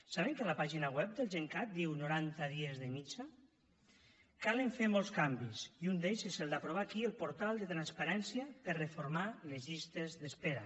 saben que a la pàgina web del gencat diu noranta dies de mitjana cal fer molts canvis i un d’ells és el d’aprovar aquí el portal de transparència per a reformar les llistes d’espera